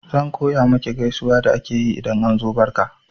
Zan koya maki gaisuwa da ake yi idan an zo barka